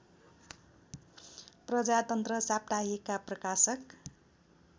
प्रजातन्त्र साप्ताहिकका प्रकाशक